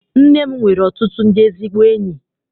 Nne m nwere ọtụtụ ndị ezigbo enyi.